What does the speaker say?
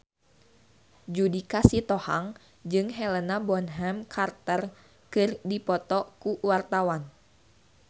Judika Sitohang jeung Helena Bonham Carter keur dipoto ku wartawan